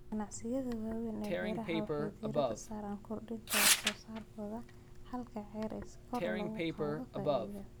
Ganacsiyada waaweyn ee beeraha waxay diiradda saaraan kordhinta wax soo saarkooda halkii acre si kor loogu qaado faa'iidada.